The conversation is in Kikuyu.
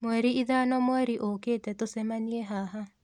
Mweri ithano mweri ũkĩte tũcemanie haha.